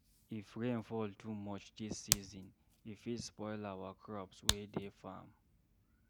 If rain fall too much dis season, e fit spoil our crops wey dey farm.